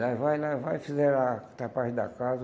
Lá vai, lá vai, fizeram a tapagem da casa.